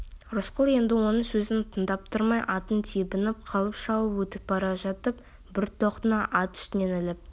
рысқұл енді оның сөзін тыңдап тұрмай атын тебініп қалып шауып өтіп бара жатып бір тоқтыны ат үстінен іліп